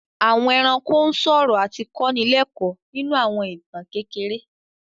Àwọn ẹranko ń sọ̀rọ̀ àti kọ́ ni lẹ́kọ́ọ̀ nínú àwọn ìtàn kékeré